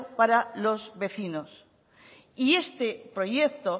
para los vecinos y este proyecto